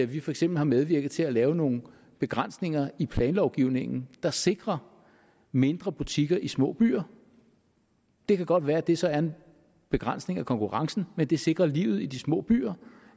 vi for eksempel har medvirket til at lave nogle begrænsninger i planlovgivningen der sikrer mindre butikker i små byer det kan godt være at det så er en begrænsning af konkurrencen men det sikrer livet i de små byer